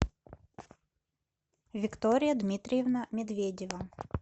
виктория дмитриевна медведева